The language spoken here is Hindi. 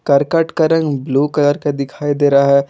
करकट का रंग ब्लू कलर का दिखाई दे रहा है।